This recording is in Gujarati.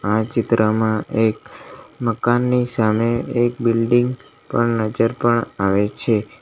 આ ચિત્રમાં એક મકાનની સામે એક બિલ્ડીંગ પણ નજર પણ આવે છે.